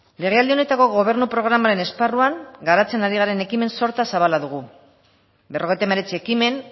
legealdi honetako gobernu programaren esparruan garatzen ari garen ekimen sorta zabala dugu berrogeita hemeretzi ekimen